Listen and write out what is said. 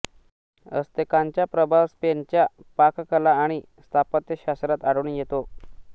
अस्तेकांचा प्रभाव स्पेनच्या पाककला आणि स्थापत्यशास्त्रात आढळून येतो